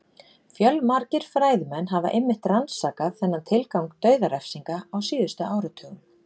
Fjölmargir fræðimenn hafa einmitt rannsakað þennan tilgang dauðarefsinga á síðustu áratugum.